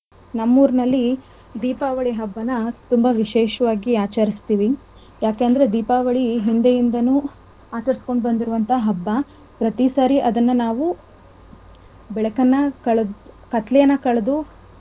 ನಮ್ಮೂರನಲ್ಲಿ ದೀಪಾವಳಿ ಹಬ್ಬನಾ ತುಂಬಾ ವಿಶೇಷವಾಗಿ ಆಚರಿಸ್ತಿವಿ. ಯಾಕಂದ್ರೆ ದೀಪಾವಳಿ ಹಿಂದೆಯಿಂದಾನು ಆಚರಿಸ್ಕೊಂಡು ಬಂದಿರೋವಂತ ಹಬ್ಬ. ಪ್ರತಿಸಾರಿ ಅದನ್ನ ನಾವು ಬೆಳಕನ್ನ ಕತ್ತಲೆಯನ್ನ ಕಳದು ಬೆಳಕ್ ಮೂಡಸುವಂತ ಹಬ್ಬ.